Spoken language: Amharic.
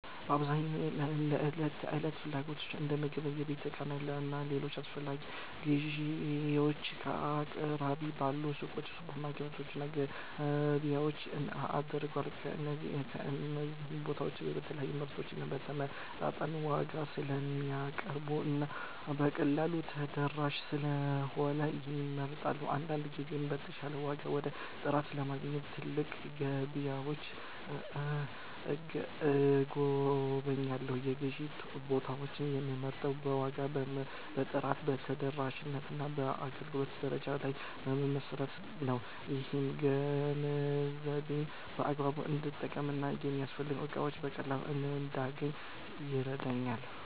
በአብዛኛው ለዕለት ተዕለት ፍላጎቶቼ እንደ ምግብ፣ የቤት ዕቃዎች እና ሌሎች አስፈላጊ ነገሮች ግዢዬን ከአቅራቢያዬ ባሉ ሱቆች፣ ሱፐርማርኬቶች እና ገበያዎች አደርጋለሁ። እነዚህ ቦታዎች የተለያዩ ምርቶችን በተመጣጣኝ ዋጋ ስለሚያቀርቡ እና በቀላሉ ተደራሽ ስለሆኑ ይመረጣሉ። አንዳንድ ጊዜም የተሻለ ዋጋ ወይም ጥራት ለማግኘት ትላልቅ ገበያዎችን እጎበኛለሁ። የግዢ ቦታዬን የምመርጠው በዋጋ፣ በጥራት፣ በተደራሽነት እና በአገልግሎት ደረጃ ላይ በመመስረት ነው። ይህም ገንዘቤን በአግባቡ እንድጠቀም እና የሚያስፈልጉኝን እቃዎች በቀላሉ እንዳገኝ ይረዳኛል።